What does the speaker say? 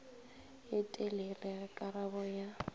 ye telele ge karabo ya